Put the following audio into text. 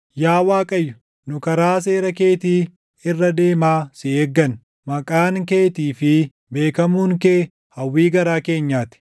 Yaa Waaqayyo, nu karaa seera keetii irra deemaa si eegganna, maqaan keetii fi beekamuun kee hawwii garaa keenyaa ti.